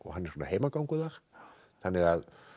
er svona heimagangur þar þannig að